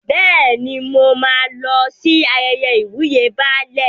Bẹ́ẹ̀ni, mo máa lọ sí ayẹyẹ ìwúyè Baálẹ̀.